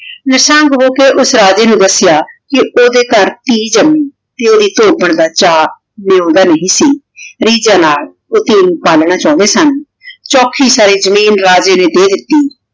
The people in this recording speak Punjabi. ਮਾਸ੍ਸਾਂ ਦਸ੍ਯ ਕੇ ਓਦੇ ਘਰ ਟੀ ਜਮੀ ਕੀ ਓਹਦੀ ਧੋਬਨ ਦਾ ਚਾ ਨੇਉਂਦਾ ਨਹੀ ਸੀ ਰੀਜਨ ਨਾਲ ਊ ਕੁਰੀ ਪਾਲਣਾ ਚੌੰਡੀ ਸਨ ਚੌਖੀ ਸਾਰੀ ਜ਼ਮੀਨ ਰਾਜੇ ਨੇ ਦੇ ਦਿਤੀ